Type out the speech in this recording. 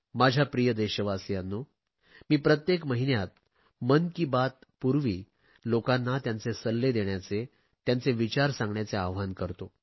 माझ्या प्रिय देशवासियांनो मी प्रत्येक महिन्यात मन की बात पूर्वी लोकांना त्यांचे सल्ले देण्याचे त्यांचे विचार सांगण्याचे आवाहन करतो